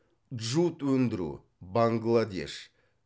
джут өндіру бангладеш